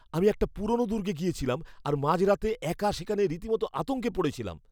আমি একটা পুরোনো দুর্গে গিয়েছিলাম, আর মাঝরাতে একা সেখানে রীতিমতো আতঙ্কে পড়েছিলাম।